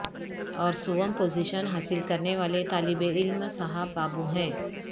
اور سوم پوزیشن حاصل کرنے والے طالب علم صاحب بابو ہیں